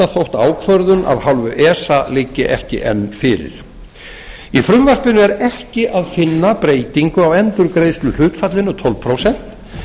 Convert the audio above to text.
þótt ákvörðun af hálfu esa liggi ekki enn fyrir í frumvarpinu er ekki að finna breytingu á endurgreiðsluhlutfallinu tólf prósent